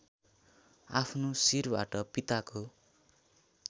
आफ्नो शिरबाट पिताको